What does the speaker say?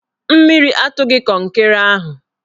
Mmiri atụghị kọnkịrị ahụ